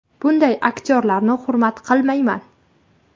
Bunday aktyorlarni hurmat qilmayman.